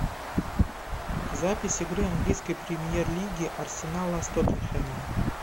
запись игры английской премьер лиги арсенала с тоттенхэмом